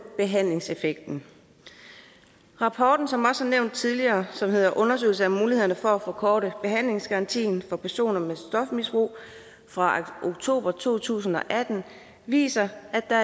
behandlingseffekten rapporten som også er nævnt tidligere og som hedder undersøgelse af mulighederne for at forkorte behandlingsgarantien for personer med stofmisbrug fra oktober to tusind og atten viser at der